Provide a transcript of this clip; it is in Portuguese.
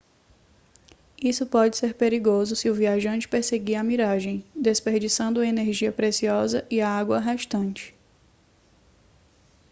isso pode ser perigoso se o viajante perseguir a miragem desperdiçando uma energia preciosa e a água restante